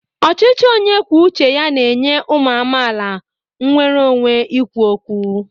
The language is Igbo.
Ọchịchị onye kwuo uche ya na-enye ụmụ amaala nnwere onwe ikwu okwu.